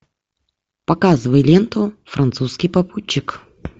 показывай ленту французский попутчик